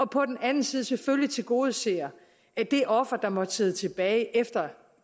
på den anden side selvfølgelig tilgodeser det offer der måtte sidde tilbage efter